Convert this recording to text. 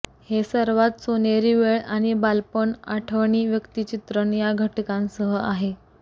हे सर्वात सोनेरी वेळ आणि बालपण आठवणी व्यक्तिचित्रण या घटकांसह आहे